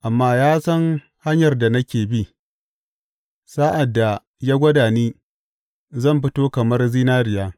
Amma ya san hanyar da nake bi; sa’ad da ya gwada ni zan fito kamar zinariya.